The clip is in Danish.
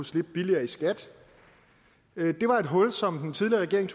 slippe billigere i skat det var et hul som den tidligere regering